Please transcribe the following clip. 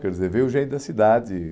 Quer dizer, veio gente da cidade,